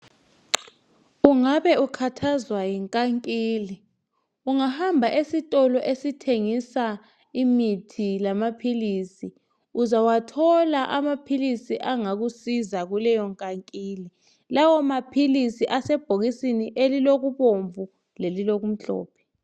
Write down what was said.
Ungabe ukhathazwa yinkankila ungahamba esitolo esithengisa imithi lamaphilisi uzawathola amaphilisi angakusiza kuleyo nkankila lawamaphilisi asebhokisini elilobubomvu lelilokumhlophe.